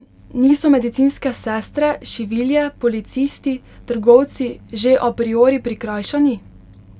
Niso medicinske sestre, šivilje, policisti, trgovci že a priori prikrajšani?